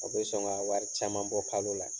O bɛ sɔn ka wari caman bɔ kalo la.